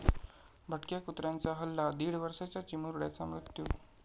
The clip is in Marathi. भटक्या कुत्र्यांचा हल्ला, दीड वर्षांच्या चिमुरड्याचा मृत्यू